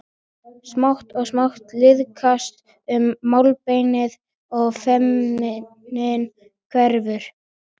Smátt og smátt liðkast um málbeinið og feimnin hverfur.